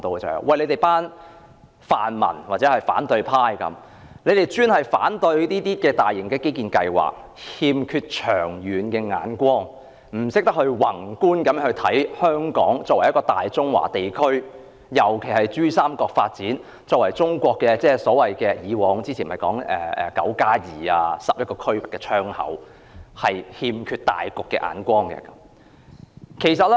他們指泛民或反對派經常反對政府的大型基建計劃，欠缺長遠目光，不懂得宏觀考慮香港作為大中華地區，特別是珠三角發展，即我們以往常說的"九加二"或11個區份的窗口，欠缺大局的眼光。